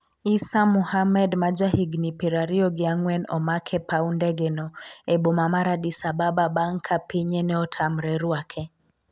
Eissa Muhammad ma ja higni piero ariyo gi ang'wen omak e paw ndege no e boma mar Addis Ababa bang' ka pinye ne otamre ruake